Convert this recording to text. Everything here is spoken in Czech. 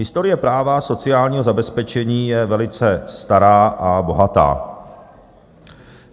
"Historie práva sociálního zabezpečení je velice stará a bohatá.